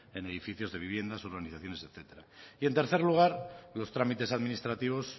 en edificios de viviendas urbanizaciones etcétera y en tercer lugar los trámites administrativos